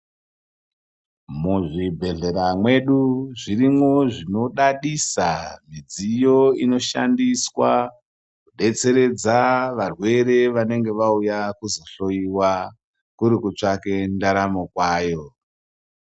Muzvibhedhlera mwedu zvirimwo zvinodadisa, midziyo inoshandiswa kudetseredza varwere vanenge vauya kuzohloiwa kurikutsvake ndaramo kwayo.